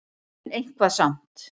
En eitthvað samt.